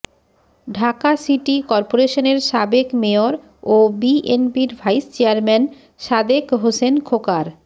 Dhaka city করপোরেশনের সাবেক mayor ও বিএনপির ভাইস চেয়ারম্যান সাদেক হোসেন খোকার